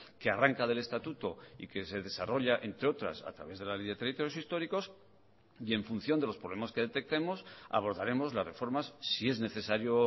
que arranca del estatuto y que se desarrolla entre otras a través de la ley de territorios históricos y en función de los problemas que detectemos abordaremos las reformas si es necesario